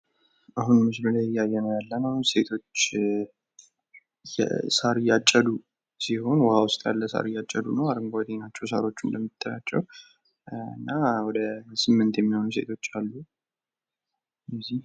በምስሉ ላይ የምናየው ወደ ስምንት የሚደርሱ ሴቶች በውሃ ዉስጥ ያለ አረንጓዴ ሳር እያጨዱ እንደሆነ ያሳያል።